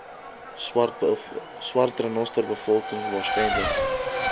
swart renosterbevolking waarskynlik